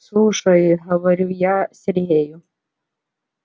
слушай говорю я сергею